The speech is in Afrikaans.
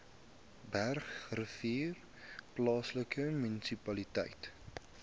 bergrivier plaaslike munisipaliteit